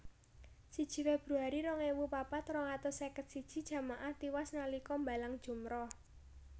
Siji Februari rong ewu papat rong atus seket siji jamaah tiwas nalika mbalang jumrah